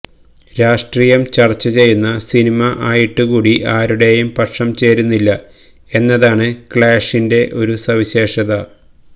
രാഷ്ട്രീയം ചര്ച്ച ചെയ്യുന്ന സിനിമ ആയിട്ട് കൂടി ആരുടെയും പക്ഷം ചേരുന്നില്ല എന്നതാണ് ക്ലാഷിന്റെ ഒരു സവിശേഷത